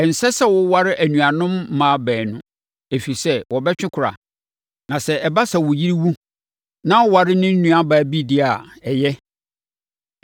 “ ‘Ɛnsɛ sɛ woware anuanom mmaa baanu, ɛfiri sɛ, wɔbɛtwe kora. Na sɛ ɛba sɛ wo yere wu na woware ne nuabaa bi deɛ a, ɛyɛ.